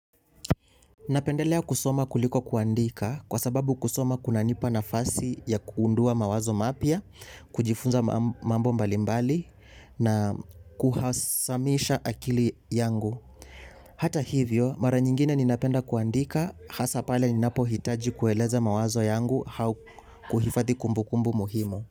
Napendelea kusoma kuliko kuandika kwa sababu kusoma kuna nipa nafasi ya kuundua mawazo mapia, kujifunza mambo mbalimbali na kuhasamisha akili yangu. Hata hivyo, mara nyingine ninapenda kuandika hasa pale ninapo hitaji kueleza mawazo yangu hau kuhifati kumbu kumbu muhimu.